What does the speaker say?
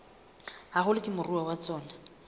haholo ke moruo wa tsona